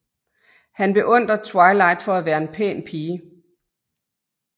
Han beundrer Twilight for at være en pæn pige